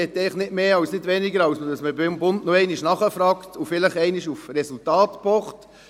Ich möchte nicht mehr und nicht weniger, als dass man beim Bund noch einmal nachfragt und vielleicht einmal auf Resultate pocht.